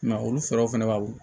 I ma olu sɔrɔ fana baw